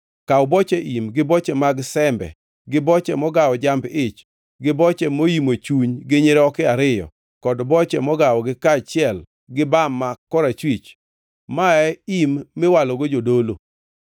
“Kaw boche im, gi boche mag sembe gi boche mogawo jamb-ich gi boche moimo chuny gi nyiroke ariyo kod boche mogawogi kaachiel gi bam ma korachwich (ma e im miwalogo jodolo).